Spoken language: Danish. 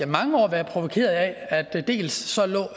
mange år været provokeret af dels